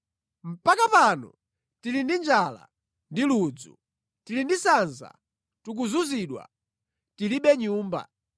Mpaka pano tili ndi njala ndi ludzu, tili ndi sanza, tikuzunzidwa, tilibe nyumba.